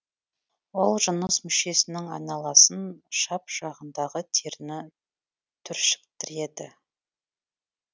ол жыныс мүшесінің айналасын шап жағындағы теріні түршіктіреді